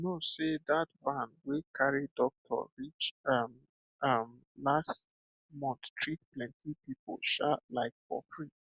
you know sey the van wey carry doctor reach um um last month treat plenty people um like for free